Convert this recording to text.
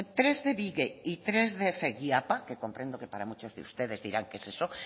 tres de bige y tres de feguiapa que comprendo que para muchos de ustedes dirán qué es eso